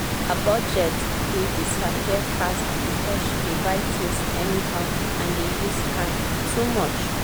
her budget dey disappear fast because she dey buy things anyhow and dey use card too much.